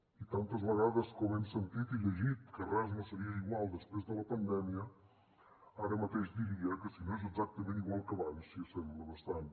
i tantes vegades com hem sentit i llegit que res no seria igual després de la pandèmia ara mateix diria que si no és exactament igual que abans s’hi assembla bastant